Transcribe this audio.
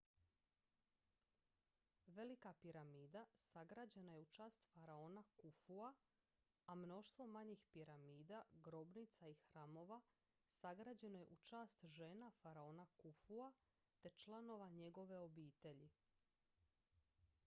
velika piramida sagrađena je u čast faraona kufua a mnoštvo manjih piramida grobnica i hramova sagrađeno je u čast žena faraona kufua te članova njegove obitelji